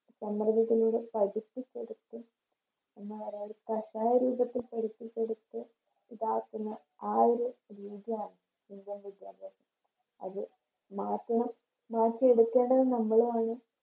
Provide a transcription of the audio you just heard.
രീതിലൂടെ പഠിപ്പിച്ചെടുത്ത് എന്ന പറയാ ഒരു കാഷായ രൂപത്തിൽ പഠിപ്പിച്ചെടുത്ത് ഇതാക്കുന്ന ആ ഒരു രീതിയാണ് Indian വിദ്യാഭ്യാസത്തിന് അത് മാറ്റണം മാറ്റി എടുക്കേണ്ടതും നമ്മളാണ്